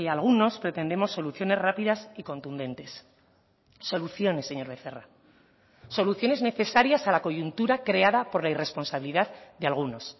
algunos pretendemos soluciones rápidas y contundentes soluciones señor becerra soluciones necesarias a la coyuntura creada por la irresponsabilidad de algunos